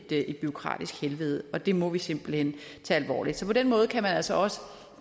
blevet et bureaukratisk helvede og det må vi simpelt hen tage alvorligt så på den måde kan man altså også